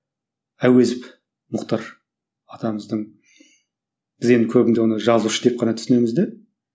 әуезов мұхтар атамыздың біз енді көбінде оны жазушы деп қана түсінеміз де